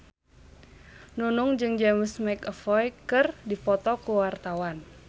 Nunung jeung James McAvoy keur dipoto ku wartawan